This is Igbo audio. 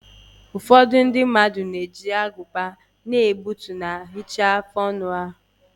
Ụfọdụ ndị na-eji agụba na-egbutu ma hichaa afụ ọnụ ha.